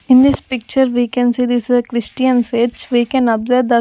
In this picture we can see this is a Christian fetch. We can observe the --